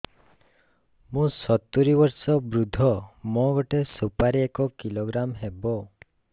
ମୁଁ ସତୂରୀ ବର୍ଷ ବୃଦ୍ଧ ମୋ ଗୋଟେ ସୁପାରି ଏକ କିଲୋଗ୍ରାମ ହେବ